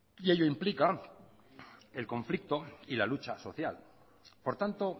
y ello implica el conflicto y la lucha social por tanto